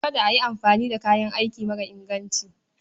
Kada a yi amfani da kayan aiki mara inganci.